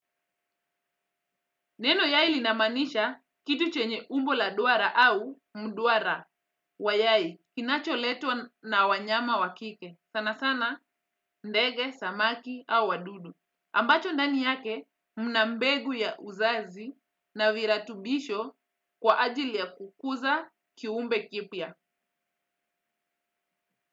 Neno yai linamaanisha kitu chenye umbo la duara au mduara wa yai kinacho letwa na wanyama wa kike. Sana sana ndege, samaki au wadudu. Ambacho ndani yake mnambegu ya uzazi na viratubisho kwa ajili ya kukuza kiumbe kipya.